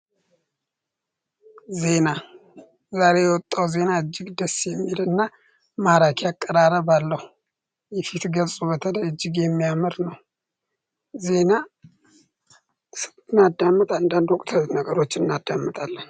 ዜና ዛሬ የወጣው ዜና እጅግ ደስ የሚል እና ማራኪ አቀራረብ ለው የፊት ገልጽ በተደ እጅግ የሚያመር ነው ዜና ስብትናዳምት አንዳንድ ውቅተ ነገሮች እናዳምጣለን